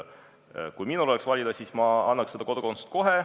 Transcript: Kui minul oleks valida, siis ma annaks selle kodakondsuse kohe.